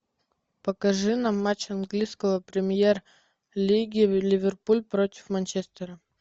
покажи нам матч английского премьер лиги ливерпуль против манчестера